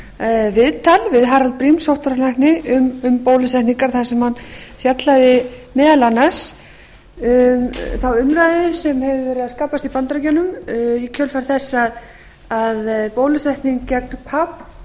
viðtal við harald briem sóttvarnalækni um bólusetningar þar sem hann fjallaði meðal annars um þá umræðu sem hefur verið að skapast í bandaríkjunum í kjölfar þess að farið